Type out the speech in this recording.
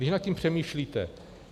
Když nad tím přemýšlíte.